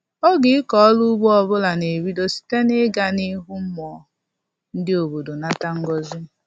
Oge ịkọ ọrụ ugbo ọbụla na-ebido site na-ịga n'ihu mmụọ ndị obodo nata ngọzị